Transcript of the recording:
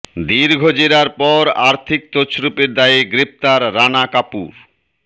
দীর্ঘ জেরার পর আর্থিক তছরুপের দায়ে গ্রেফতার রানা কাপুর